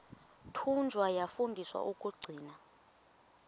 thunywa yafundiswa ukugcina